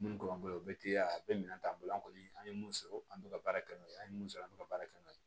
Minnu b'an bolo u bɛ teliya a bɛ minɛ t'an bolo an kɔni an ye mun sɔrɔ an bɛ ka baara kɛ n'o ye an ye mun sɔrɔ an bɛ ka baara kɛ n'o ye